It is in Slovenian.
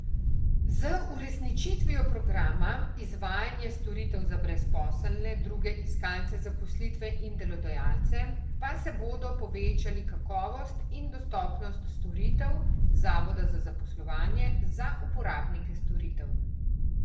Z uresničitvijo programa Izvajanje storitev za brezposelne, druge iskalce zaposlitve in delodajalce pa se bodo povečali kakovost in dostopnost storitev zavoda za zaposlovanje za uporabnike storitev.